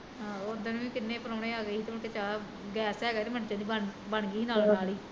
ਆਹੋ ਉਦਣ ਵੀ ਕਿੰਨੇ ਪਰਾਉਣੇ ਆਗੇ ਸੀ ਤੇ ਮੁੜ ਕੇ ਚਾਹ, ਗੈਸ ਹੈਗਾ ਸੀ ਤੇ ਮਿੰਟਾਂ ਚ ਬਣਗੀ ਨਾਲ਼ ਦੇ ਨਾਲ਼ ਈ